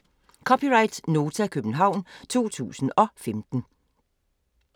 (c) Nota, København 2015